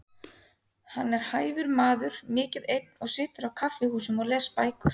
Hann er hæfur maður, mikið einn og situr á kaffihúsum og les bækur.